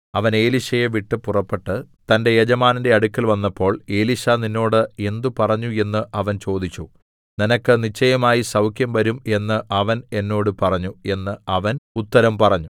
അവൻ എലീശയെ വിട്ട് പുറപ്പെട്ട് തന്റെ യജമാനന്റെ അടുക്കൽ വന്നപ്പോൾ എലീശാ നിന്നോട് എന്ത് പറഞ്ഞു എന്ന് അവൻ ചോദിച്ചു നിനക്ക് നിശ്ചയമായി സൗഖ്യം വരും എന്ന് അവൻ എന്നോട് പറഞ്ഞു എന്ന് അവൻ ഉത്തരം പറഞ്ഞു